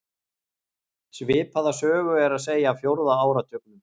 Svipaða sögu er að segja af fjórða áratugnum.